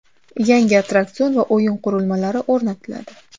Yangi attraksion va o‘yin qurilmalari o‘rnatiladi.